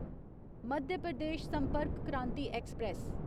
Madhya Pradesh Sampark Kranti express